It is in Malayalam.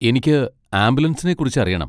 എനിക്ക് ആംബുലൻസിനെ കുറിച്ച് അറിയണം.